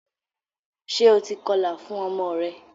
Ṣe o ti kọlà fún ọmọ rẹ?